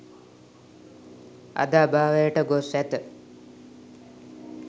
අද අභාවයට ගොස් ඇත.